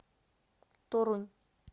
торунь